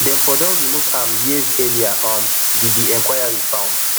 dem for don remove am years earlier um di di inquiry found